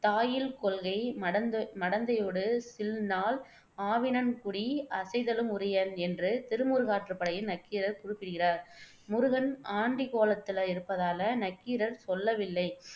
தா இல் கொள்கை மடந்தை மடந்தையொடு சில் நாள் ஆவினன்குடி அசைதலும் உரியன் என்று திருமுருகாற்றுப்படையில் நக்கீரர் குறிப்பிடுகிறார். முருகன் ஆண்டிக்கோலத்துல இருப்பதால நக்கீரர் சொல்லவில்லை.